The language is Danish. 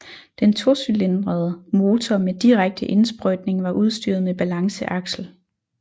Den tocylindrede motor med direkte indsprøjtning var udstyret med balanceaksel